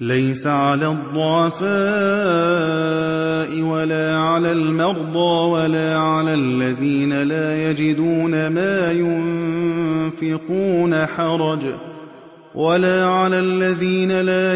لَّيْسَ عَلَى الضُّعَفَاءِ وَلَا عَلَى الْمَرْضَىٰ وَلَا عَلَى الَّذِينَ لَا